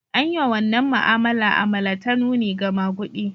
An yi wa wannan ma'amala alama ta nuni ga maguɗi.